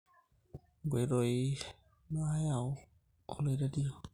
nkoitoi naayau oloirr`rerio